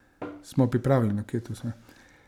Smo pripravljeni?